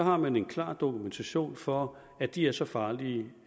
har man en klar dokumentation for at de er så farlige